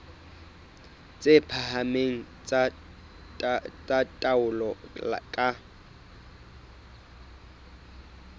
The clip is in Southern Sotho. tse phahameng tsa taolo ka